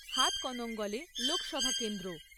হাতকণঙ্গলে লোকসভা কেন্দ্র